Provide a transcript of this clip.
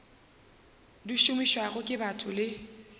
di šomišwago ke batho le